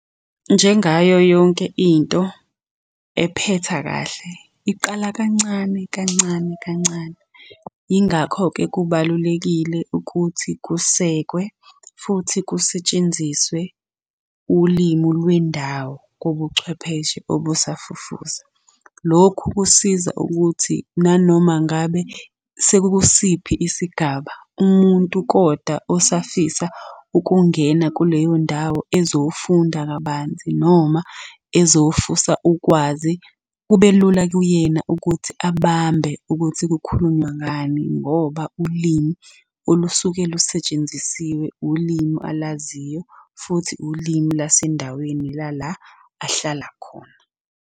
Njengayo yonke into ephetha kahle, iqala kancane kancane kancane. Yingakho-ke kubalulekile ukuthi kusekwe, futhi kusetshenziswe ulimi lwendawo kobuchwepheshe obusafufusa. Lokhu kusiza ukuthi nanoma ngabe sekukusiphi isigaba, umuntu kodwa osafisa ukungena kuleyo ndawo ezofunda kabanzi noma ezofusa ukwazi, kube lula kuyena ukuthi abambe ukuthi kukhulunywa ngani. Ngoba ulimi olusuke lusetshenzisiwe, ulimi alaziyo futhi ulimi lasendaweni lala ahlala khona.